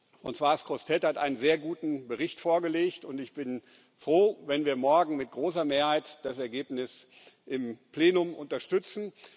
Françoise Grossetête hat einen sehr guten Bericht vorgelegt, und ich bin froh, wenn wir morgen mit großer Mehrheit das Ergebnis im Plenum unterstützen.